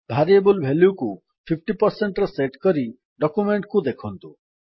variable ଭାଲ୍ୟୁକୁ 50ରେ set କରି ଡକ୍ୟୁମେଣ୍ଟ୍ କୁ ଦେଖନ୍ତୁ